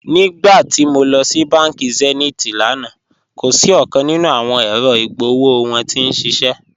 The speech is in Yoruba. Nígbàtí mó lọ sí bánkì Zenith lánà, kò sí ọ̀kan nínu awọn èrò igbóòwò wọn tí n ṣiṣẹ́.